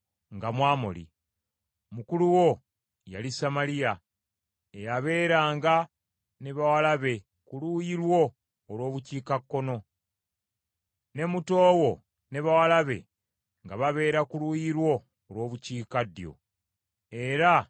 Mukulu wo yali Samaliya eyabeeranga ne bawala be ku luuyi lwo olw’Obukiikakkono, ne muto wo ne bawala be nga babeera ku luuyi lwo olw’Obukiikaddyo, era nga ye Sodomu.